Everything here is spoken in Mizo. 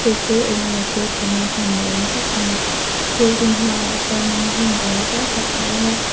chu chu eng emaw thil thlenna hmun ni awm tak ani building hmaah hianin hmun awl zau tak a awm a.